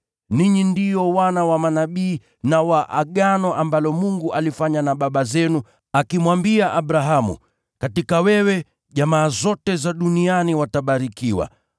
Ninyi ndio wana wa manabii na wa Agano ambalo Mungu alifanya na baba zenu, akimwambia Abrahamu, ‘Kupitia kwa uzao wako, watu wote wa ulimwengu watabarikiwa.’